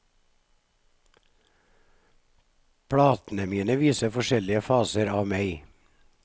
Platene mine viser forskjellige faser av meg.